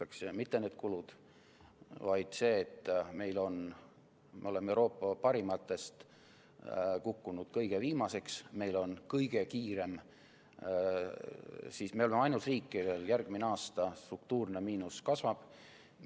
Olulised ei ole mitte need kulud, vaid see, et me oleme Euroopa parimate hulgast kukkunud kõige viimaseks, me oleme ainus riik, kellel järgmine aasta struktuurne miinus kasvab.